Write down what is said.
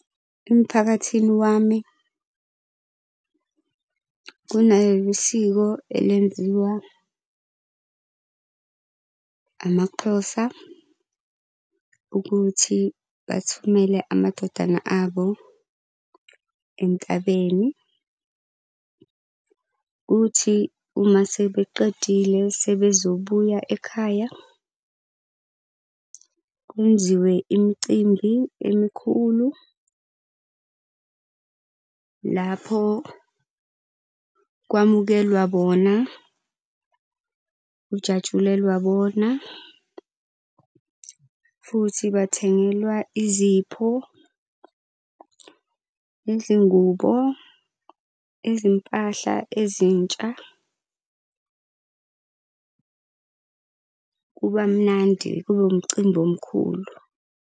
Emphakathini wami kunesiko elenziwa amaXhosa ukuthi bathumele amadodana abo entabeni. Kuthi uma sebeqedile sebezobuya ekhaya, kwenziwe imicimbi emikhulu lapho kwamukelwa bona, kujatshulelwa bona. Futhi bathengelwa izipho, nezingubo, izimpahla ezintsha. Kuba mnandi, kube umcimbi omkhulu.